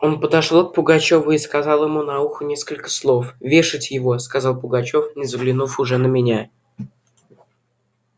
он подошёл к пугачёву и сказал ему на ухо несколько слов вешать его сказал пугачёв не взглянув уже на меня